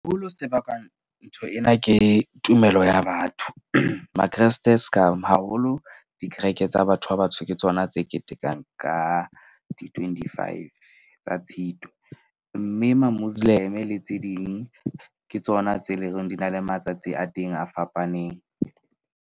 Se bakang ntho ena ke tumelo ya batho. Ma-Kreste ska haholo dikereke tsa batho ba batsho ke tsona tse ketekang ka di-twenty five tsa Tshitwe. Mme ma Muslim-e le tse ding ke tsona tse leng horeng di na le matsatsi a teng a fapaneng.